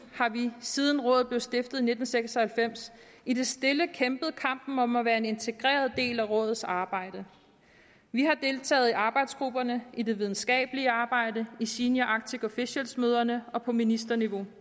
har vi siden rådet blev stiftet i nitten seks og halvfems i det stille kæmpet kampen om at være en integreret del af rådets arbejde vi har deltaget i arbejdsgrupperne i det videnskabelige arbejde i senior arctic officials møderne og på ministerniveau